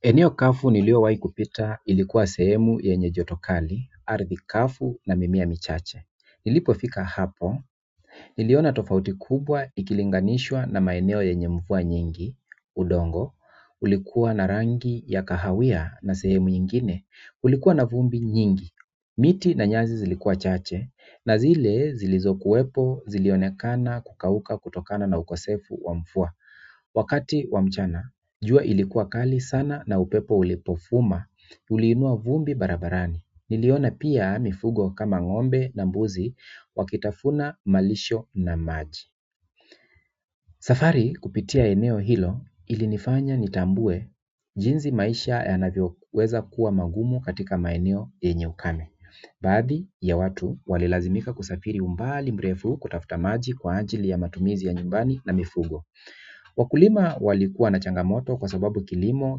Eneo kavu niliyowahi kupita ilikuwa sehemu yenye joto kali, ardhi kavu na mimea michache. Nilipofika hapo, niliona tofauti kubwa ikilinganishwa na maeneo yenye mvua nyingi, udongo, ulikuwa na rangi ya kahawia na sehemu nyingine, ulikuwa na vumbi nyingi. Miti na nyasi zilikuwa chache, na zile zilizokuwepo, zilionekana, kukauka, kutokana na ukosefu wa mvua. Wakati wa mchana, jua ilikuwa kali sana na upepo ulipovuma, uliinua vumbi barabarani. Niliona pia mifugo kama ng'ombe na mbuzi wakitafuna malisho na maji safari kupitia eneo hilo ilinifanya nitambue jinsi maisha yanavyoweza kuwa magumu katika maeneo yenye ukame baadhi ya watu walilazimika kusafiri umbali mrefu kutafuta maji kwa ajili ya matumizi ya nyumbani na mifugo wakulima walikuwa na changamoto kwa sababu kilimo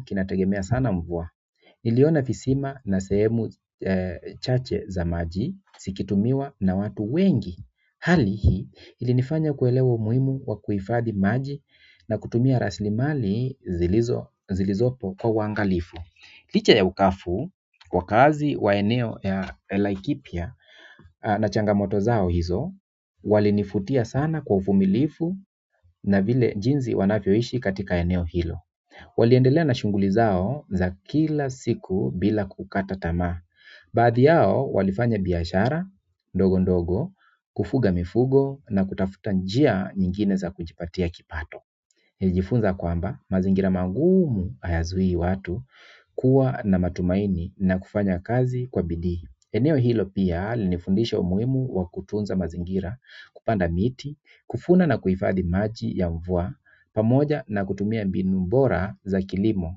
kinategemea sana mvua. Niliona visima na sehemu chache za maji zikitumiwa na watu wengi hali hii ilinifanya kuelewa umuhimu wa kuhifadi maji na kutumia raslimali zilizopo kwa uangalifu. Licha ya ukavu, wakaazi wa eneo ya Laikipia na changamoto zao hizo walinivutia sana kwa uvumilivu na vile jinsi wanavyoishi katika eneo hilo waliendelea na shughuli zao za kila siku bila kukata tamaa baadhi yao walifanya biashara ndogo ndogo kufuga mifugo na kutafuta njia nyingine za kujipatia kipato. Nilijifunza kwamba mazingira mangumu hayazui watu kuwa na matumaini na kufanya kazi kwa bidiii. Eneo hilo pia lilifundisha umuhimu wa kutunza mazingira, kupanda miti, kufuna na kuhifadhi maji ya mvua, pamoja na kutumia mbinu bora za kilimo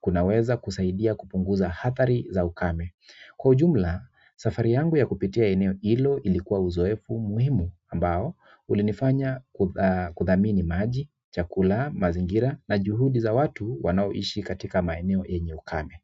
kunaweza kusaidia kupunguza adhari za ukame. Kwa ujumla, safari yangu ya kupitia eneo hilo, ilikuwa uzoefu muhimu ambao ulinifanya kudhamini maji, chakula, mazingira na juhudi za watu wanaoishi katika maeneo eneo ukame.